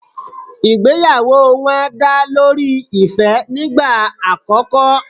Ìgbéyàwó wọn dá lórí ìfẹ́ nígbà àkòko